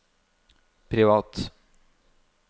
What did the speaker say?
privat